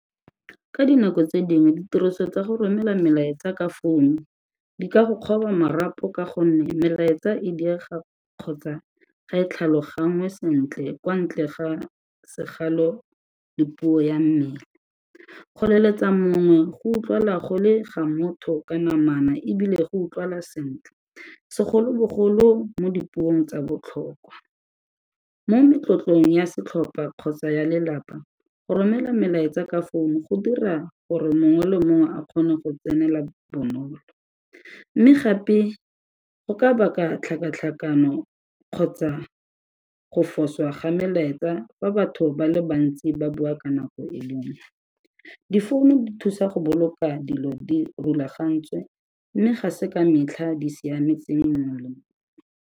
Ka dinako tse dingwe ditiriso tsa go romela melaetsa ka founu di ka go kgoba marapo ka gonne melaetsa e direga kgotsa ga e tlhaloganngwe sentle kwa ntle ga segalo le puo ya mmele, go leletsa mongwe go utlwala go le ga motho ka namana ebile go utlwala sentle, segolobogolo mo dipuong tsa botlhokwa. Mo metlotlong ya setlhopha kgotsa ya lelapa go romela melaetsa ka founu go dira gore mongwe le mongwe a kgone go tsenela bonolo. Mme gape go ka baka tlhakatlhakano kgotsa go foswa ga melaetsa fa batho ba le bantsi ba bua ka nako e le nngwe, difounu di thusa go boloka dilo di rulagantswe mme ga se ka metlha di siametseng mongwe le mongwe.